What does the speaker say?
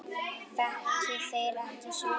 Þekki þeir ekki söguna.